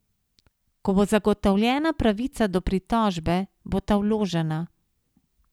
Ko bo zagotovljena pravica do pritožbe, bo ta vložena.